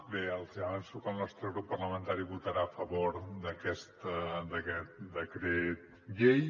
bé avanço que el nostre grup parlamentari votarà a favor d’aquest decret llei